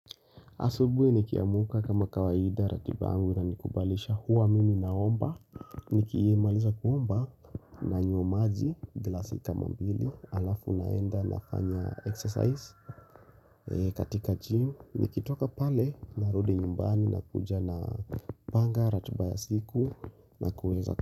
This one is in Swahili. Asubuhi nikiamka kama kawaida ratiba yangu inanikubalisha huwa mimi naomba, nikimaliza kuomba nanywa maji, glasi kama mbili, alafu naenda nafanya exercise katika gym, nikitoka pale narudi nyumbani na kuja na panga, ratiba ya siku na kuweza.